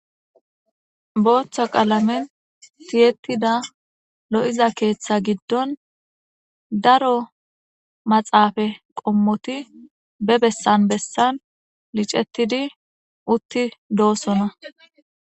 booththo qalamen tiyettida lo'iza keeththa giddon daro maxaafe qommoti be bessan bessan licettidi utti doosona